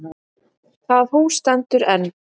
Það hús stendur enn.